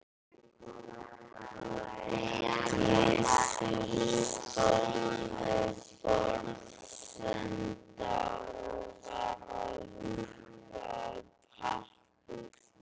Gizur stóð við borðsenda og var að huga að pappírum.